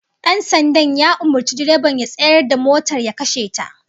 Dan sandan ya umurci direban ya tsayar da motar ya kashe ta